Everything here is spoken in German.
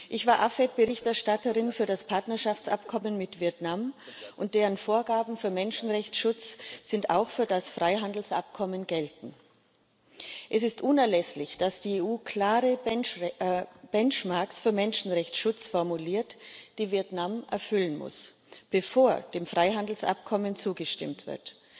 Ich war AFET Berichterstatterin für das Partnerschaftsabkommen mit Vietnam, dessen Vorgaben für Menschenrechtsschutz auch für das Freihandelsabkommen gelten. Es ist unerlässlich, dass die EU klare Benchmarks für Menschenrechtsschutz formuliert, die Vietnam erfüllen muss, bevor dem Freihandelsabkommen zugestimmt wird.